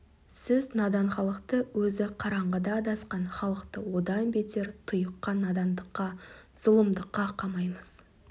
сіз надан халықты өзі қараңғыда адасқан халықты одан бетер тұйыққа надандыққа зұлымдыққа қамайсыз